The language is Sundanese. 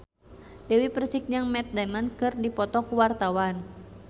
Dewi Persik jeung Matt Damon keur dipoto ku wartawan